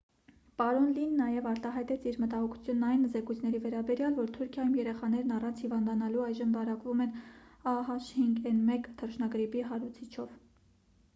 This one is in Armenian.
պարոն լին նաև արտահայտեց իր մտահոգությունն այն զեկույցների վերաբերյալ որ թուրքիայում երեխաներն առանց հիվանդանալու այժմ վարակվում են a h5n1 թռչնագրիպի հարուցիչով։